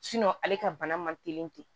ale ka bana man teli ten